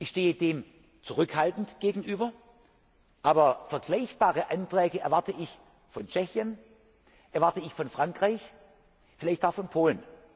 Ich stehe dem zurückhaltend gegenüber. Aber vergleichbare Anträge erwarte ich von Tschechien, von Frankreich, vielleicht auch von